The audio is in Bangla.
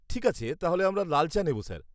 ঠিক আছে, তাহলে আমরা লাল চা নেব, স্যার।